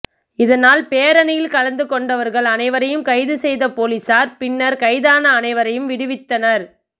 இதனால் பேரணியில் கலந்து கொண்டவர்கள் அனைவரையும் கைது செய்த போலீசார் பின்னர் கைதான அனைவரையும் விடுவித்தனர்